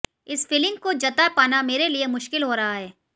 इस फीलिंग को जता पाना मेरे लिए मुश्किल हो रहा है